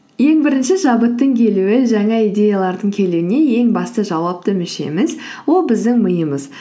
ең бірінші шабыттың келуі жаңа идеялардың келуіне ең басты жауапты мүшеміз ол біздің миымыз